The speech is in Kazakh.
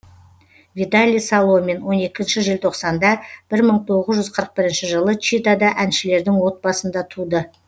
виталий соломин он екінші желтоқсанда бір мың тоғыз жүз қырық бірінші жылы читада әншілердің отбасында туды